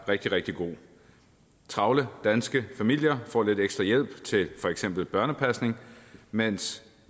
rigtig rigtig god travle danske familier får lidt ekstra hjælp til for eksempel børnepasning mens